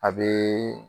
A bɛ